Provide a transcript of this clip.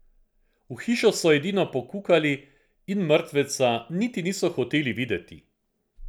V hišo so edino pokukali in mrtveca niti niso hoteli videti.